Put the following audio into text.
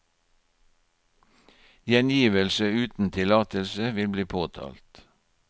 Gjengivelse uten tillatelse vil bli påtalt.